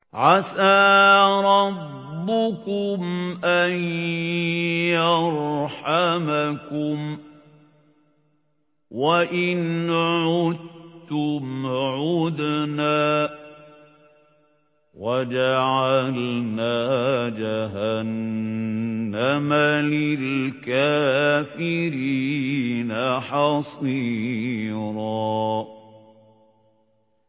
عَسَىٰ رَبُّكُمْ أَن يَرْحَمَكُمْ ۚ وَإِنْ عُدتُّمْ عُدْنَا ۘ وَجَعَلْنَا جَهَنَّمَ لِلْكَافِرِينَ حَصِيرًا